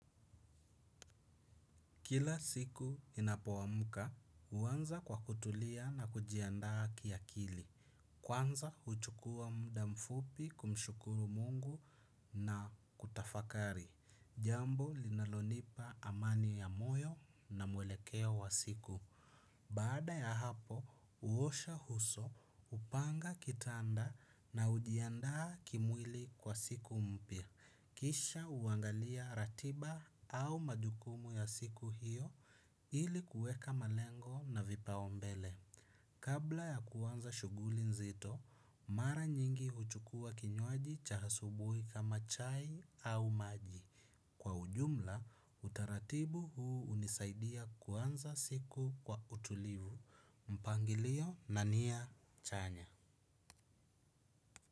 Kila siku ninapoamuka, huanza kwa kutulia na kujiandaa kiakili. Kwanza huchukua muda mfupi kumshukuru mungu na kutafakari. Jambo linalonipa amani ya moyo na mwelekea wa siku. Baada ya hapo, huosha uso, hupanga kitanda na hujiandaa kimwili kwa siku mpya. Kisha huangalia ratiba au majukumu ya siku hiyo ili kueka malengo na vipao mbele. Kabla ya kuanza shuguli nzito, mara nyingi huchukua kinywaji cha asubuhi kama chai au maji. Kwa ujumla, utaratibu huu hunisaidia kuanza siku kwa utulivu, mpangilio na nia chanya.